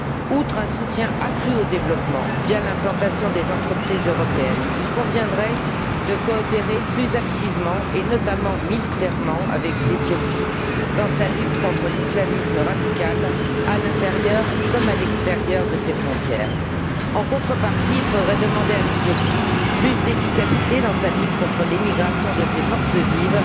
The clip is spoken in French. Outre un soutien accru au développement, via l'implantation d'entreprises européennes, il conviendrait de coopérer plus activement, et notamment militairement, avec l'Éthiopie dans sa lutte contre l'islamisme radical, à l'intérieur comme à l'extérieur de ses frontières. En contrepartie, il faudrait demander à l'Éthiopie plus d'efficacité dans sa lutte contre l'émigration de ses forces vives,